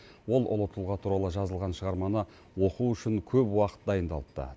ол ұлы тұлға туралы жазылған шығарманы оқу үшін көп уақыт дайындалыпты